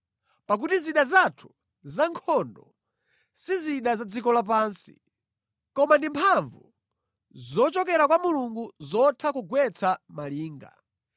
Pakuti zida zathu zankhondo si zida za dziko lapansi. Koma ndi mphamvu zochokera kwa Mulungu zotha kugwetsa malinga.